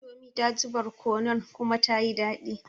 Indomie daji barkono kuma tayi daɗi